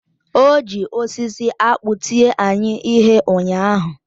Ọ ji osisi akpụ tie anyị ihe ụnyaahụ.